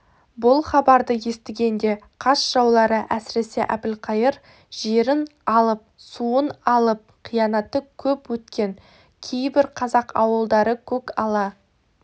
бұл хабарды естігенде қас жаулары әсіресе әбілқайыр жерін алып суын алып қиянаты көп өткен кейбір қазақ ауылдары көкала